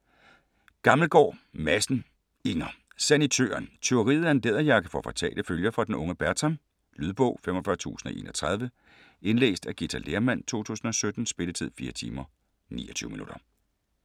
Gammelgaard Madsen, Inger: Sanitøren Tyveriet af en læderjakke får fatale følger for den unge Bertram. Lydbog 45031 Indlæst af Ghita Lehrmann, 2017. Spilletid: 4 timer, 29 minutter.